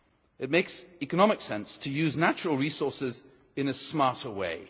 It makes economic sense to use natural resources in a smarter way.